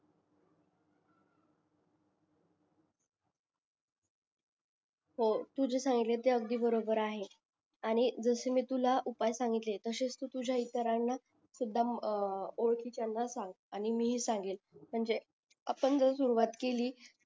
हो तू जे सांगितले ते अगदी बरोबर आहे आणि जस मी शकला उपाय सांगितले तसेच तू तुझ्या इतरांना सुद्धा अं ओळखीच्यांना सांग आणि मी हि सांगेन म्हणजे आपण जर सुरवात केली